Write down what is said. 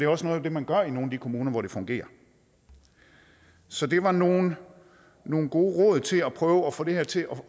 også noget af det man gør i nogle af de kommuner hvor det fungerer så det var nogle nogle gode råd til at prøve at få det her til